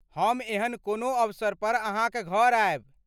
हम एहन कोनो अवसर पर अहाँक घर आयब।